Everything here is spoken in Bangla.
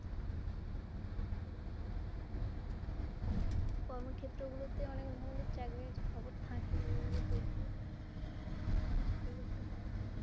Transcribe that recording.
কর্মক্ষেত্র গুলোতে অনেক ধরনের চাকরির খবর থাকে ওগুলো দেখলে নিশ্চয়ই একটা পাওয়া যাবে।